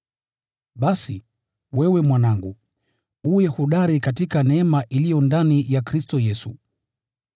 Basi, wewe mwanangu, uwe hodari katika neema iliyo ndani ya Kristo Yesu.